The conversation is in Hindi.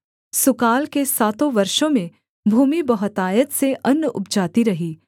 सुकाल के सातों वर्षों में भूमि बहुतायत से अन्न उपजाती रही